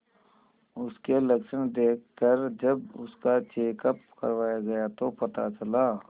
उसके लक्षण देखकरजब उसका चेकअप करवाया गया तो पता चला